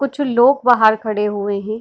कुछ लोग बाहर खड़े हुए हैं।